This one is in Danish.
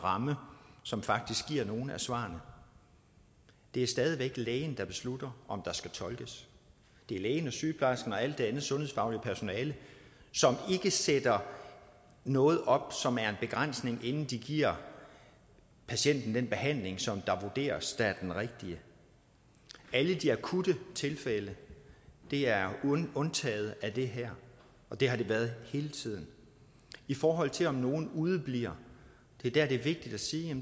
ramme som faktisk giver nogle af svarene det er stadig væk lægen der beslutter om der skal tolkes det er lægen og sygeplejersken og alt det andet sundhedsfaglige personale som ikke sætter noget op som er en begrænsning inden de giver patienten den behandling som der vurderes er den rigtige alle de akutte tilfælde er undtaget af det her og det har de været hele tiden i forhold til om nogle udebliver er det vigtigt at sige